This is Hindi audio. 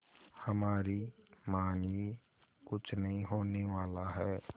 हमारी मानिए कुछ नहीं होने वाला है